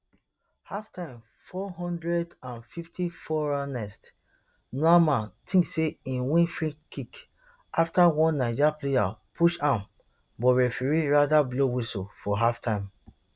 halftime four hundred and fifty-fourernest nuamah tink say im win freekick afta one niger player push am but referee rather blow whistle for halftime